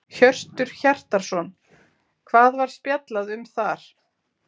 Hjörtur Hjartarson: Hvað var spjallað um þar?